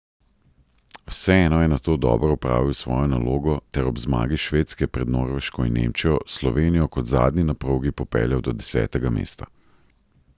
Vseeno je nato dobro opravil svojo nalogo ter ob zmagi Švedske pred Norveško in Nemčijo Slovenijo kot zadnji na progi popeljal do desetega mesta.